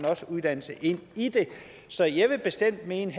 også uddannelse ind i det så jeg vil bestemt mene